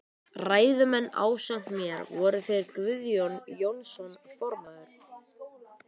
Ræðumenn ásamt mér voru þeir Guðjón Jónsson formaður